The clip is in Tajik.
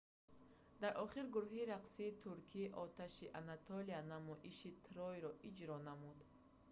дар охир гурӯҳи рақсии туркии оташи анатолия намоиши трой"-ро иҷро намуд